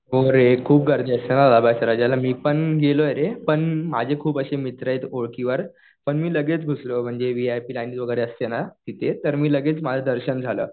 हो रे. खूप गर्दी असते लालबागच्या राजाला. मी पण गेलोय रे. पण माझे खूप असे मित्र आहे ओळखीवर. पण मी लगेच घुसलो, व्हीआयपी लाईन वगैरे असते ना तिथे. तर मी लगेच माझं दर्शन झालं.